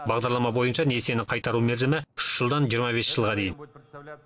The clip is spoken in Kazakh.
бағдарлама бойынша несиені қайтару мерзімі үш жылдан жиырма бес жылға дейін